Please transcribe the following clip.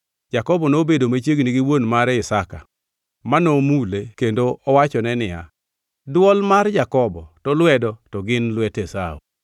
Jakobo nobedo machiegni gi wuon mare Isaka, mano mule kendo owachone niya, “Dwol to mar Jakobo, to lwedo to gin lwet Esau.”